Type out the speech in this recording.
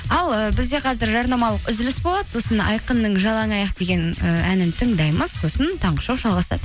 ал ііі бізде қазір жарнамалық үзіліс болады сосын айқынның жалаңаяқ деген і әнін тыңдаймыз сосын таңғы шоу жалғасады